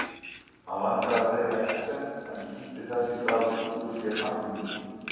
Hann langaði að segja exem en spýtti þess í stað út úr sér nafni